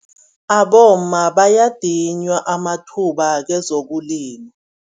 Abomma bayadinywa amathuba kwezokulima.